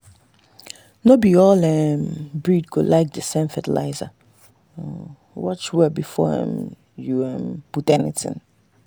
no be all um breed go like the same fertiliser—watch well before um you um put anything.